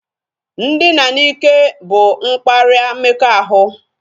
Ndina n'ike bụ mkparịa mmekọahụ